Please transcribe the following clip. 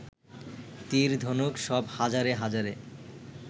তীর, ধনুক সব হাজারে হাজারে